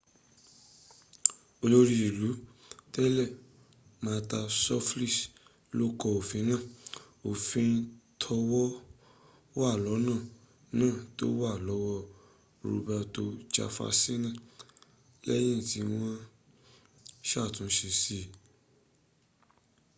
olórí ìlú tẹ́lẹ̀ mata suplicy ló kọ òfin náà òfin tówàlọ́nà náà ti wà lọ́wọ́ robato jefasini lẹ́yìn tí wọ́n ṣàtúnṣe sí